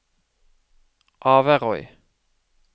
Averøy